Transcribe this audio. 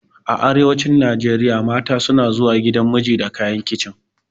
A arewacin Najeriya mata suna zuwa gidan miji da kayan kicin.